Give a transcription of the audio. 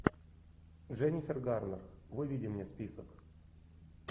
дженнифер гарнер выведи мне список